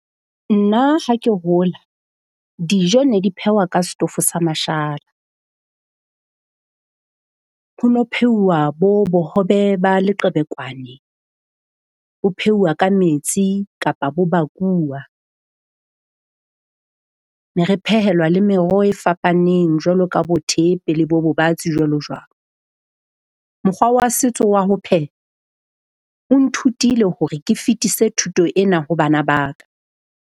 Nna ha ke hola dijo ne di phehwa ka setofo sa mashala. Ho no ho pheuwa bo bohobe ba leqebekwane, bo pheuwa ka metsi kapa bo bakuwa. Ne re phehelwa le meroho e fapaneng jwalo ka bo thepe le bo bobatsi, jwalo jwalo. Mokgwa wa setso wa ho pheha o nthutile hore ke fetise thuto ena ho bana ba ka.